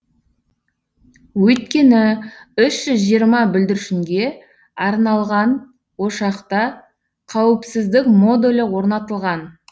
өйткені үш жүз жиырма бүлдіршінге арналған ошақта қауіпсіздік модулі орнатылған